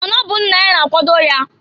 Ma na ọ bụ nna ya na-akwado ya.